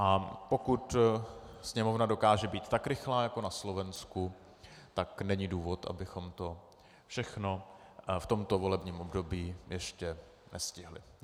A pokud Sněmovna dokáže být tak rychlá jako na Slovensku, tak není důvod, abychom to všechno v tomto volební období ještě nestihli.